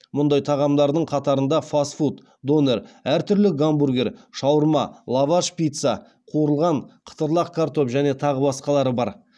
мұндай тағамдардың қатарында фастфуд донер әр түрлі гамбургер шаурма лаваш пицца қуырылған қытырлақ картоп және тағы басқалары бар